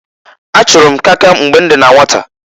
Achụrụ m kaka mgbe m dị na nwata.